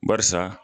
Barisa